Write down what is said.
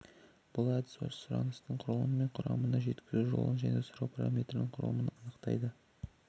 бұл әдіс сұраныстың құрылымы мен құрамын жеткізу жолын және сұрау параметрлерінің құрылымын анықтайды